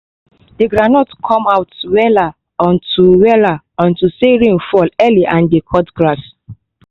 the groundnut come out wella unto wella unto say rain fall early and dey cut grass